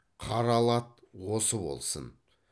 қаралы ат осы болсын